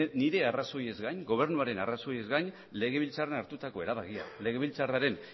nire arrazoiez gain gobernuaren arrazoiez gain legebiltzarrean hartutako erabakiak legebiltzarraren